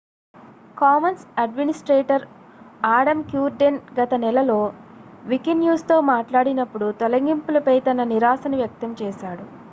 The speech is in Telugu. కామన్స్ అడ్మినిస్ట్రేటర్ ఆడమ్ క్యూర్డెన్ గత నెలలో వికిన్యూస్తో మాట్లాడినప్పుడు తొలగింపులపై తన నిరాశను వ్యక్తం చేశాడు